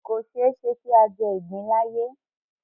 Kò ṣeéṣe kí a jẹ ìgbín láàyè